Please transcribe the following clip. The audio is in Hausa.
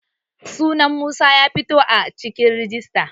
sunan Musa ya fito a cikin rijista